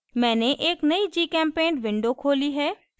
मैंने एक नयी gchempaint window खोली है